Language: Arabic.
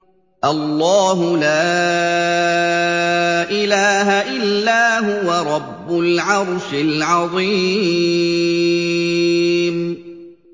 اللَّهُ لَا إِلَٰهَ إِلَّا هُوَ رَبُّ الْعَرْشِ الْعَظِيمِ ۩